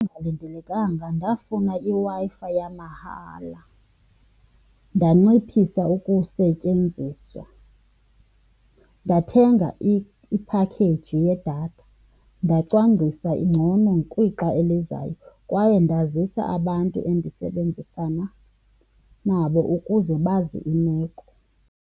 Engalindelekanga ndafuna iWi-Fi yamahala, ndanciphisa ukusetyenziswa, ndathenga iphakheji yedatha, ndacwangcisa ngcono kwixa elizayo kwaye ndazisa abantu endisebenzisana nabo ukuze bazi imeko.